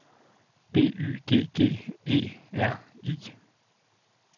B Y G G E R I